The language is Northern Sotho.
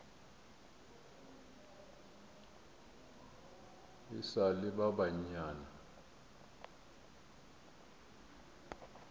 e sa le ba banyane